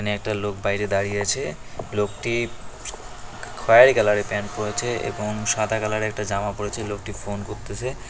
এখানে একটা লোক বাইরে দাঁড়িয়ে আছে লোকটি খয়েরি কালারের প্যান্ট পরেছে এবং সাদা কালারের একটা জামা পরেছে লোকটি ফোন করতেসে।